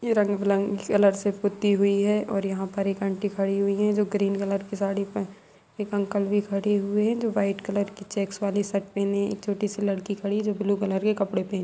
ये रंग बिलंगे कलर से पुती हुई है और यहां पर एक आंटी खड़ी हुई है जो ग्रीन कलर की साड़ी प- एक अंकल भी खड़े हुए है जो वाइट कलर की चेक्स वाली शर्ट पहने है एक छोटी-सी लड़की खड़ी है जो ब्लू कलर के कपड़े पहने----